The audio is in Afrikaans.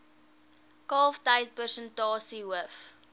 kalftyd persentasie hoof